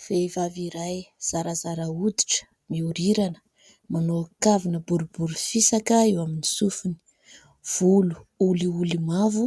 Vehivavy iray zarazara hoditra, miorirana manao kavina boribory fisaka eo amin'ny sofiny, volo olioly mavo